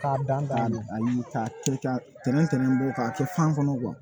K'a dan kateli tɛntɛn tɛntɛn bɔ k'a kɛ fan kɔnɔ